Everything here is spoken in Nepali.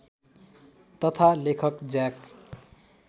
तथा लेखक ज्याक